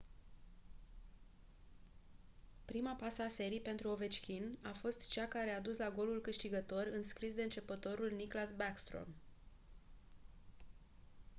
prima pasă a serii pentru ovechkin a fost cea care a dus la golul câștigător înscris de începătorul nicklas backstrom